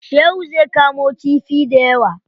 Shehu zai kamo kifi dayawa.